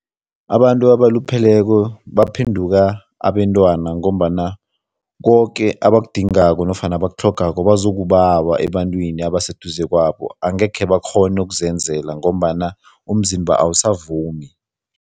Abantu abalupheleko baphenduka ngombana koke abakudingako nofana abakutlhogako bazokubawa ebantwini abaseduze kwabo, angeke bakghone ukuzenzela ngombana umzimba awusavumi.